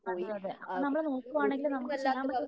അതെ അതെ അപ്പോ നമ്മള് വീട്ടിലാണെങ്കിൽ നമുക്ക് ചെയ്യാൻ പറ്റുന്നത്